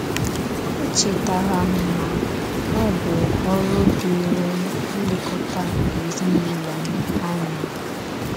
O chetaara m na ọ bụ ọrụ dịịrị m ilekọta ezinụlọ m anya.